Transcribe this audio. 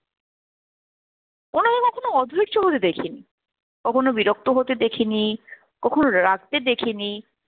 ওনাকে কখনো অধৈর্য হতে দেখেনি, কখনো বিরক্ত হতে দেখেনি, কখনো রাগতে দেখেনি।